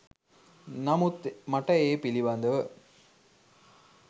නමුත් මට ඒ පිළිබඳව